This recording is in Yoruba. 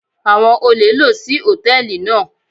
Àwọn olè lò sí Hòtẹ́lìì náà.